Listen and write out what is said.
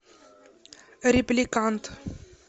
репликант